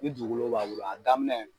Ni dugukolo b'a bolo a daminɛ.